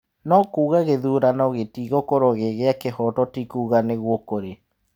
No kuuga gĩthurano gĩtigũkorwo gĩ kĩa kĩhooto ti kuuga nĩguo kũrĩ.